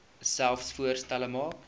selfs voorstelle maak